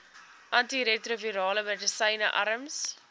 antiretrovirale medisyne arms